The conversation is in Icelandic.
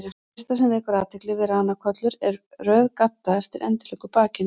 Það fyrsta sem vekur athygli við ranakollur er röð gadda eftir endilöngu bakinu.